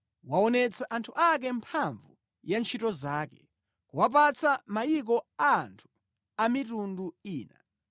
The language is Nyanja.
Waonetsa anthu ake mphamvu ya ntchito zake, kuwapatsa mayiko a anthu a mitundu ina.